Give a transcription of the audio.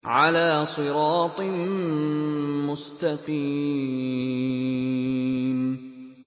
عَلَىٰ صِرَاطٍ مُّسْتَقِيمٍ